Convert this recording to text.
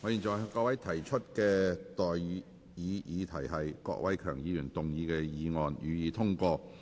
我現在向各位提出的待議議題是：郭偉强議員動議的議案，予以通過。